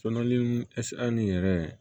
Sɔɔni ni yɛrɛ